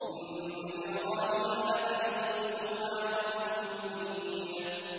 إِنَّ إِبْرَاهِيمَ لَحَلِيمٌ أَوَّاهٌ مُّنِيبٌ